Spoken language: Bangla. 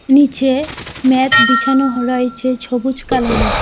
নীচে ম্যাত বিছানো হ রয়েছে ছবুজ কালার -এর।